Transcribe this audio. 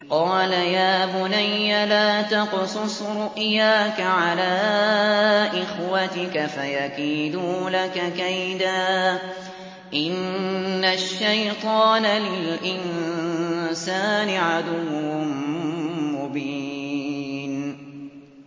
قَالَ يَا بُنَيَّ لَا تَقْصُصْ رُؤْيَاكَ عَلَىٰ إِخْوَتِكَ فَيَكِيدُوا لَكَ كَيْدًا ۖ إِنَّ الشَّيْطَانَ لِلْإِنسَانِ عَدُوٌّ مُّبِينٌ